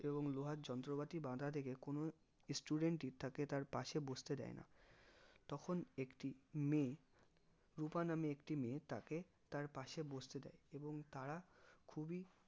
এবং লোহার যন্ত্রপাতি বাধা থেকে কোনো student ই থাকে তার পশে বসতে দেয় না তখন একটি মেয়ে রুপা নামের একটি মেয়ে তাকে তার পশে বসতে দেয় এবং তারা খুবই